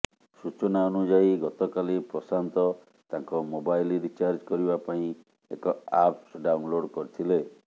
ସୂଚନା ଅନୁଯାୟୀ ଗତକାଲି ପ୍ରଶାନ୍ତ ତାଙ୍କ ମୋବାଇଲ୍ ରିଚାର୍ଜ କରିବା ପାଇଁ ଏକ ଆପ୍ସ ଡାଉନଲୋଡ୍ କରିଥିଲେ